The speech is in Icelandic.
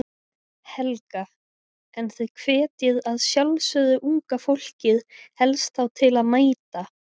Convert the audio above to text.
Helga: En þið hvetjið að sjálfsögðu unga fólkið helst þá til að mæta?